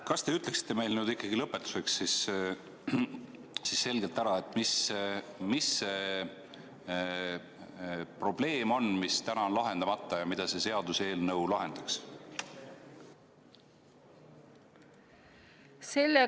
Kas te ütleksite meile nüüd lõpetuseks selgelt ära, mis see probleem on, mis täna on lahendamata ja mida see seaduseelnõu lahendaks?